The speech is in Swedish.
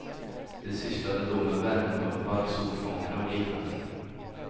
Det sysslade då med värmepumpar, solfångare och liknande.